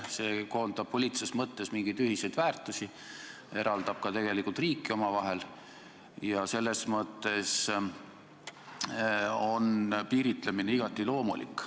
See koondab poliitilises mõttes mingeid ühiseid väärtusi, eraldab tegelikult ka riike omavahel ja selles mõttes on piiritlemine igati loomulik.